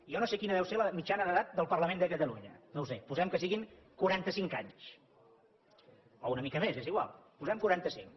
jo no sé quina deu ser la mitjana d’edat del parlament de catalunya no ho sé posem que siguin quaranta cinc anys o una mica més és igual posem quaranta cinc